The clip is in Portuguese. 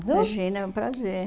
Imagina, é um prazer.